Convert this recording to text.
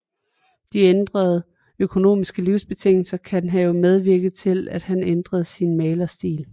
De ændrede økonomiske livsbetingelser kan have medvirket til at han ændrede sin malerstil